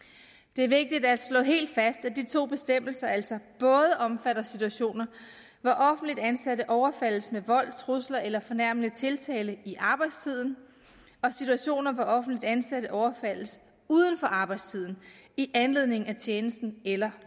det er vigtigt at slå helt fast at de to bestemmelser altså både omfatter situationer hvor offentligt ansatte overfaldes med vold trusler eller fornærmende tiltale i arbejdstiden og situationer hvor offentligt ansatte overfaldes uden for arbejdstiden i anledning af tjenesten eller